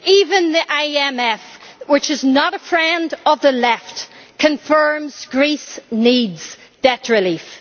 Even the IMF, which is not a friend of the Left, confirms that Greece needs debt relief.